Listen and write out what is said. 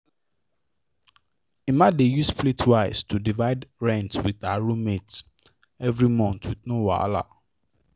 emma dey use splitwise to divide rent with her her roommates every month with no wahala